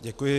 Děkuji.